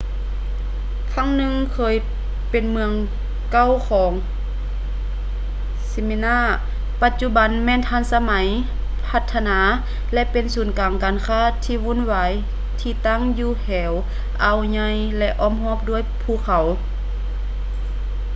ຄັ້ງໜຶ່ງເຄີຍເປັນເມືອງເກົ່າຂອງ smyrna ປະຈຸບັນແມ່ນທັນສະໄໝ ພັດທະນາ ແລະ ເປັນສູນກາງການຄ້າທີ່ວຸ່ນວາຍທີ່ຕັ້ງຢູ່ແຖວອ່າວໃຫຍ່ ແລະ ອ້ອມຮອບດ້ວຍພູເຂົາ